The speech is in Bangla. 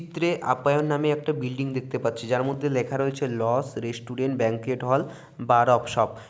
চিত্রের আপায়ন নামে একটা বিল্ডিং দেখতে পাচ্ছি যার মধ্যে লেখা আছে লস (লজ) restaurant banquet hall bar off shop.